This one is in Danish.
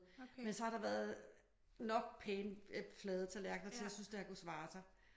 Men så har der været nok pæne flade tallerkener til at jeg synes det kunne svare sig